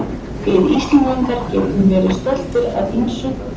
Við Íslendingar getum verið stoltir af ýmsu.